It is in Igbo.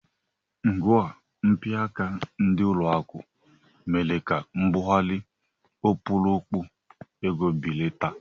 Ngwa mpịaka ndị ụlọakụ mere ka mbugharị ọkpụrụkpụ ego belata